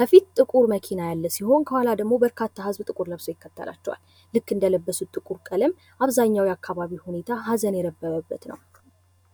ከፊት ጥቁር መኪና ያለ ሲሆን ከኋላ ደሞ በርካታ ህዝብ ጥቁር ለብሶ ይከተላቸዋል። ልክ እንደለበሱ ጥቁር ቀለም አብዛኛው የአካባቢ ሁኔታ ሃዘን የነበረበት ነው።